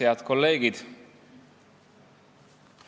Head kolleegid!